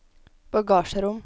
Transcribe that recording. bagasjerom